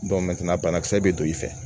banakisɛ bɛ don i fɛ